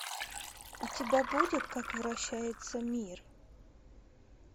у тебя будет как вращается мир